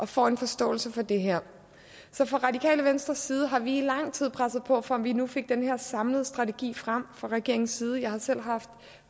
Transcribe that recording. får en forståelse for det her så fra radikale venstres side har vi i lang tid presset på for at vi nu fik den her samlede strategi frem fra regeringens side jeg har selv haft